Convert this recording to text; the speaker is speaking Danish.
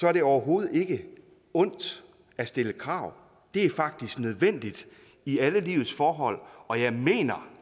er det overhovedet ikke ondt at stille krav det er faktisk nødvendigt i alle livets forhold og jeg mener